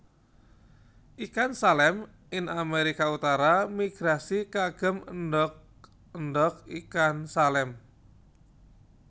Ikan Salem ing Amerika utara migrasi kagem endog endog ikan salem